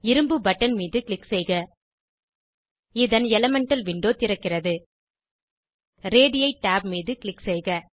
இரும்பு பட்டன் மீது க்ளிக் செய்க இதன் எலிமெண்டல் விண்டோ திறக்கிறது ரேடி tab மீது க்ளிக் செய்க